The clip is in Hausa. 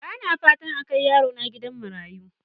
Bana fatan a kai yarona gidan marayu.